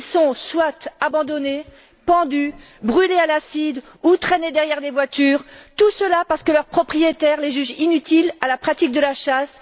Ils sont abandonnés, pendus, brûlés à l'acide ou traînés derrière des voitures, tout cela parce que leurs propriétaires les jugent inutiles à la pratique de la chasse.